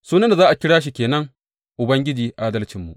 Sunan da za a kira shi ke nan, Ubangiji Adalcinmu.